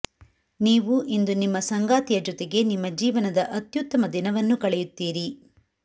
ನೀವು ಇಂದು ನಿಮ್ಮ ಸಂಗಾತಿಯ ಜೊತೆಗೆ ನಿಮ್ಮ ಜೀವನದ ಅತ್ಯುತ್ತಮದಿನವನ್ನು ಕಳೆಯುತ್ತೀರಿ